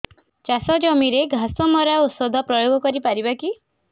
ଚାଷ ଜମିରେ ଘାସ ମରା ଔଷଧ ପ୍ରୟୋଗ କରି ପାରିବା କି